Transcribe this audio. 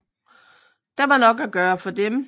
Der var nok at gøre for dem